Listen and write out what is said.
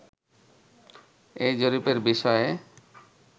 এই জরিপের বিষয়ে